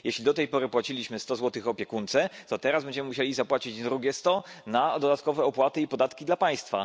Jeśli do tej pory płaciliśmy opiekunce sto złotych, to teraz będziemy musieli zapłacić drugie sto na dodatkowe opłaty i podatki dla państwa.